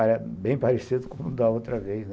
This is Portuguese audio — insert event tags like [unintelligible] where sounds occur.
[unintelligible] Até bem parecido com o da outra vez, né.